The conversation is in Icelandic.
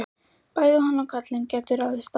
Bæði hann og karlinn gætu ráðist á okkur.